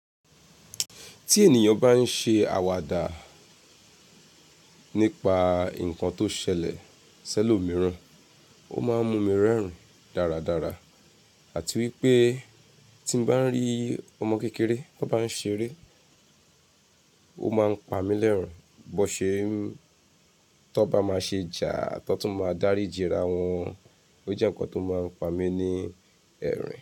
Tí ènìyàn bá ń ṣe àwàdà nípa nǹkan tó ṣẹlẹ̀ sẹ́lòmíràn, ó máa ń mú mi rẹ́rìn dáradára àti wípé tí mo bá ń rí ọmọ kékeré tó bá ń ṣeré, ó máa ń pa mí lẹ́rin bó ṣe n tó bá máa ṣe jàá tó tún máa dáríjì ra wọn. Ó jẹ́ nǹkan tó máa ń pa mí ní ẹ̀rín.